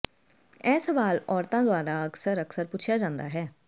ਇਹ ਸਵਾਲ ਔਰਤਾਂ ਦੁਆਰਾ ਅਕਸਰ ਅਕਸਰ ਪੁੱਛਿਆ ਜਾਂਦਾ ਹੈ